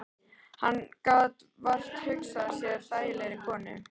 Hann gat vart hugsað sér þægilegri konu.